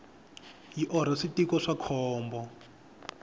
yi orha switiko swa khombo